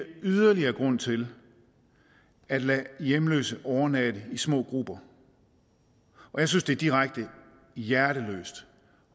yderligere grund til at lade hjemløse overnatte i små grupper jeg synes det er direkte hjerteløst